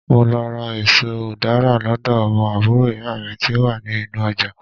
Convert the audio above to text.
mo lọ ra eso udara lodo omo àbúrò iya mi ti o wa ni inú ojà